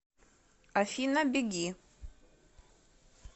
афина беги